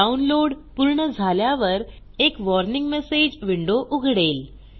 download पूर्ण झाल्यावर एक वॉर्निंग मेसेज विंडो उघडेल